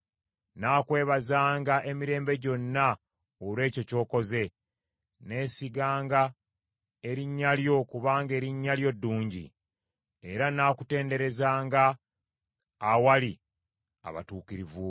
Nnaakwebazanga emirembe gyonna olw’ekyo ky’okoze. Nneesiganga erinnya lyo kubanga erinnya lyo ddungi; era nnaakutendererezanga awali abatuukirivu bo.